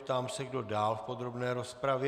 Ptám se, kdo dál v podrobné rozpravě.